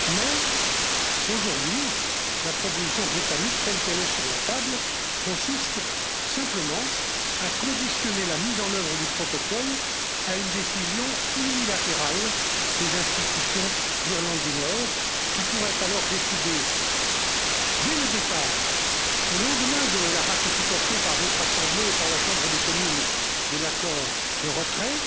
Mais aujourd'hui, la proposition britannique, telle qu'elle est sur la table, consiste simplement à conditionner la mise en œuvre du protocole à une décision unilatérale des institutions d'Irlande du Nord, qui pourraient alors décider unilatéralement, dès le départ, au lendemain de la ratification par votre assemblée et par la Chambre des communes de l'accord de retrait,